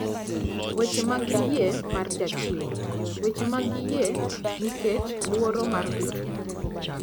Weche mag Yie mar Jachiwo: Weche mag yie nikech luoro mar ritruok.